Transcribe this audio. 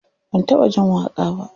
Ban taɓa jin waƙa ba.